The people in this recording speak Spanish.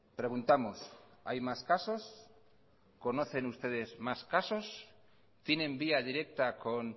preguntamos hay más casos conocen ustedes más casos tienen vía directa con